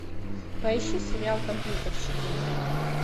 поищи сериал компьютерщики